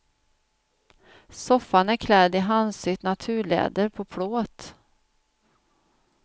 Soffan är klädd i handsytt naturläder på plåt.